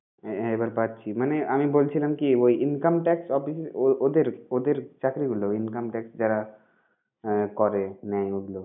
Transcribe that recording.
হ্যাঁ হ্যাঁ এবার পাচ্ছি. মানে আমি বলছিলাম কি, ওই Income tax office ওদের ওদের চাকরি গুলো ওই income tax যারা করে নেয় ওগুলো